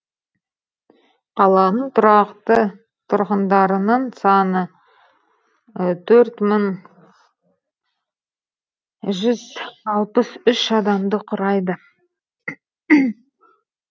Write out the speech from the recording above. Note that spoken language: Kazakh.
қаланың тұрақты тұрғындарының саны төрт мың жүз алпыс үш адамды құрайды